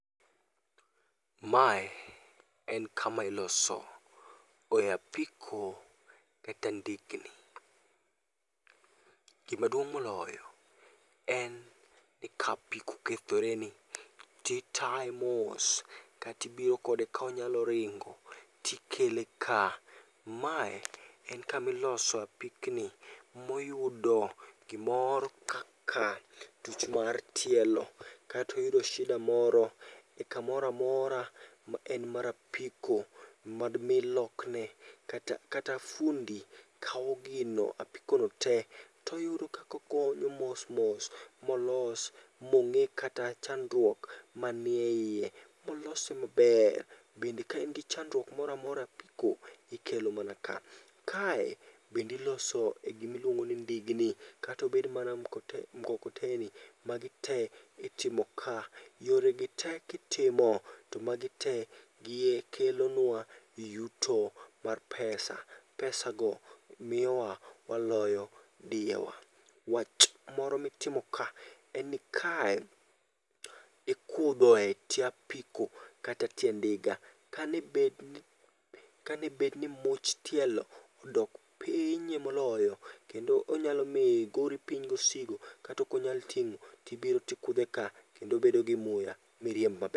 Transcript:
Mae en kama iloso e apiko kata ndikni. Gima duong' moloyo en ni ka apiko okethoreni, titaye mos katibiro kode konyalo ringo tikele ka. Mae en kamiloso apikni moyudo gimoro kaka tuch mar tielo katoyudo shid moro e kamoramora ma en mar apiko madmi lokne. Kata fundi kawo gino, apikono te, toyudo kakogonyo mos mos molos. Mong'i kata chandruok manie iye, molos mabder. Bende kain gi chandruok moramora e apiko, ikelo mana ka. Kae bendiloso e gimiluongo ni ndigni, katobed mana mkokoteni, magi te itimo ka. Yore gi te kitimo, to magi te kelonwa yuto mar pesa. Pesa go miyowa waloyo diyewa. Wach moro mitimo ka en ni kae ikudhoe tie apiko kata tie ndiga. Kanebed ni much tielo odok piny e moloyo, kendo onyalo miyo igori piny gosigo katokonyal ting'o. Tibiro tikudhe ka, kendo obedo gi muya, miriemb mab.